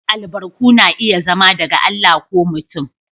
Albarku na iya zama daga Allah ko mutum.